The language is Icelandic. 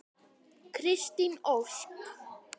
Kristín Ósk.